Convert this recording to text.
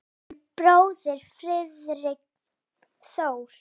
Þinn bróðir Friðrik Þór.